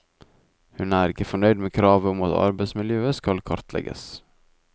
Hun er ikke fornøyd med kravet om at arbeidsmiljøet skal kartlegges.